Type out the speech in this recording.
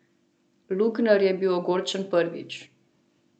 Lugner je bil ogorčen prvič.